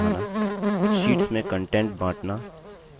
sheets में content बाँटना